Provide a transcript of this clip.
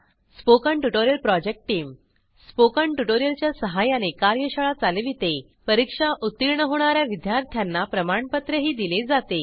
spoken tutorial project टीमSpoken tutorial च्या सहाय्याने कार्यशाळा चालवितेपरीक्षा उत्तीर्ण होणा या विद्यार्थ्यांना प्रमाणपत्रही दिले जाते